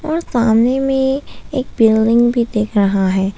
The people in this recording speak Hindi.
और सामने में एक बिल्डिंग भी दिख रहा है।